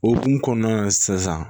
O hukumu kɔnɔna na sisan